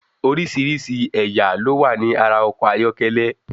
Oríṣìíríṣìí ẹ̀yà ló wà ní ara ọkọ̀ ayọ́kẹ́lẹ́.